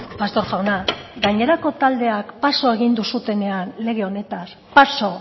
pastor jauna gainerako taldeak paso egin duzuenean lege honetaz paso